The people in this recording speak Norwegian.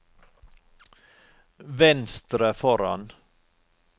venstre foran